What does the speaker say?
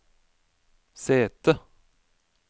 sete